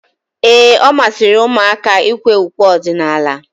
Ee, ọ masịrị ụmụaka ikwe ukwe ọdịnala.